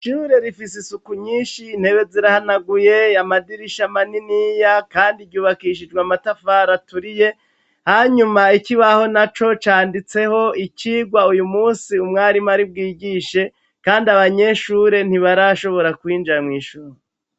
Ishure rifise isuku nyinshi intebe zirahanaguye yamadirisha maniniya kandi jyubakishijwe amatafar aturiye hanyuma ikibaho na co canditseho icigwa uyu munsi umwarimu ari bwigishe kandi abanyeshure ntibarashobora kwinjira mw'ishuri.